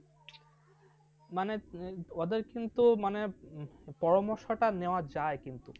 মানে ওদের কিন্তু মানে পরামর্শটা নেওয়া যায় কিন্তু।